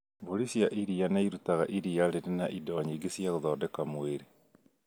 Mbũri cia iria nĩirutaga iria rĩrĩ na indo nyingĩ cia gũthondeka mwĩrĩ